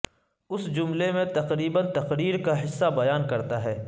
اس جملے میں تقریب تقریر کا حصہ بیان کرتا ہے